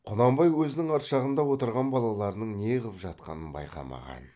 құнанбай өзінің арт жағында отырған балаларының не қып жатқанын байқамаған